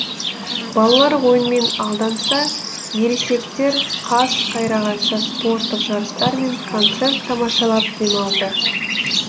балалар ойынмен алданса ересектер қас қайрағанша спорттық жарыстар мен концерт тамашалап демалды